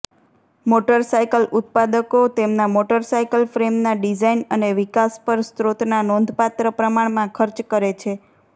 motorcycle ઉત્પાદકો તેમના motorcycle ફ્રેમના ડિઝાઇન અને વિકાસ પર સ્રોતના નોંધપાત્ર પ્રમાણમાં ખર્ચ કરે છે